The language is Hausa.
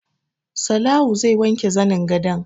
Salawu zai wanke zanin gadon